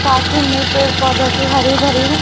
साथ ही में पेड़ पौधो की हरी भरी है।